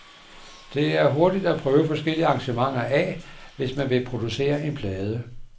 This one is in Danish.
Det er hurtigt at prøve forskellige arrangementer af, hvis man vil producere en plade.